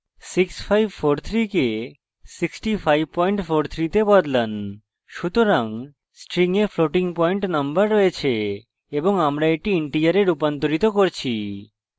6543 কে 6543 তে বদলান সুতরাং string we floating point number রয়েছে এবং আমরা এটি integer রুপান্তরিত করছি